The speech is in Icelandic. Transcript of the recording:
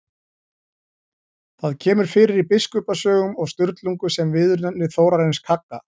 Það kemur fyrir í Biskupasögum og Sturlungu sem viðurnefni Þórarins kagga.